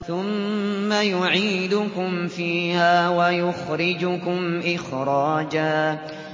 ثُمَّ يُعِيدُكُمْ فِيهَا وَيُخْرِجُكُمْ إِخْرَاجًا